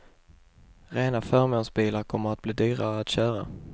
Rena förmånsbilar kommer att bli dyrare att köra.